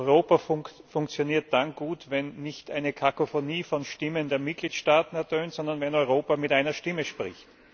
Europa funktioniert dann gut, wenn nicht eine Kakofonie von Stimmen der Mitgliedstaaten ertönt, sondern wenn Europa mit einer Stimme spricht.